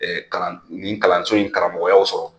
Ɛɛ kalan nin kalanso in karamɔgɔya sɔrɔ